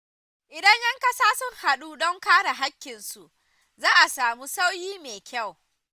Idan ‘yan kasa sun hadu don kare haƙƙinsu, za a samu sauyi mai kyau.